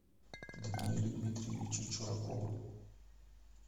даниэлю дмитриевичу чуракову